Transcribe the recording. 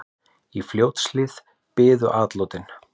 Í Fljótshlíð biðu atlotin.